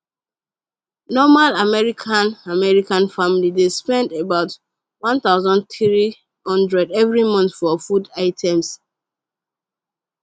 normal american american family dey spend about 1300 every month for food items